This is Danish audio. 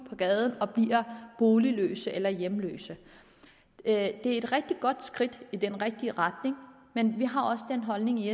på gaden og bliver boligløse eller hjemløse det er et rigtig godt skridt i den rigtige retning men vi har også den holdning i